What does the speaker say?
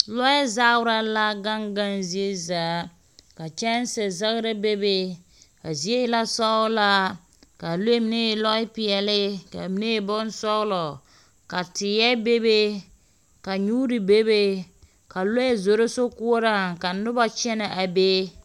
Lɔɛ zaara la gaŋ gaŋ ziezaa. Ka kyanse zagra bebe a zie e la sɔɔ laa kaa lɔɛ mine e lɔɛ peɛle ka mine e bonsɔɔlɔ ka teɛ bebe ka nyuuri bebe ka lɔɛ zoro sokoɔraaŋ ka noba kyɛnɛ a be.